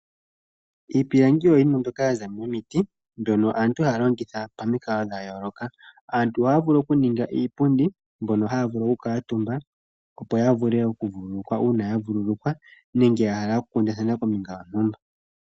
Iipilangi oyo yimwe mbyoka yaza momiti mbyono aantu haya longitha pamikalo dha yooloka. Aantu ohaya vulu okuninga iipundi mbyono haya vulu oku kuutumba opo ya vule oku vuululukwa uuna ya vulwa nenge ya hala oku kundathana kombinga yontumba.